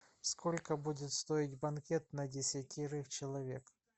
сколько будет стоить банкет на десятерых человек